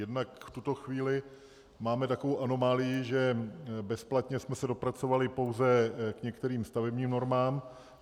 Jednak v tuto chvíli máme takovou anomálii, že bezplatně jsme se dopracovali pouze k některým stavebním normám.